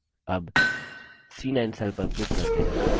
अब c9 cell पर click करते हैं